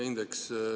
Varro Vooglaid, palun!